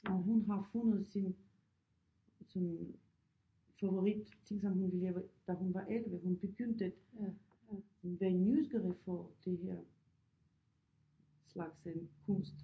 Og hun har fundet sin sådan favoritting som hun vil lave da hun var 11 hun begyndte være nysgerrig for det her slags øh kunst